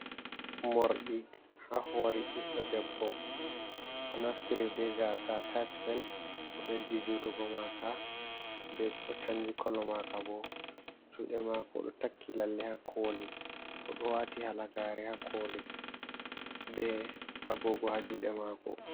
Mordi ha hore ɓiɗɗo debbo o naftiri be gasa atachmen o ɓeddi jutugo maka be o chanji kolo maka bo, juɗe mako do takki lalle ha koli, do wati halagare aklbe agogo ha juɗe mako.